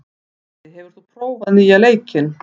Eddi, hefur þú prófað nýja leikinn?